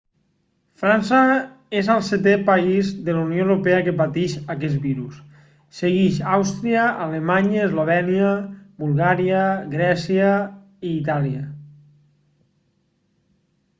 frança és el setè país de la unió europea que pateix aquest virus segueix àustria alemanya eslovènia bulgària grècia i itàlia